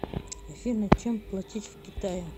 афина чем платить в китае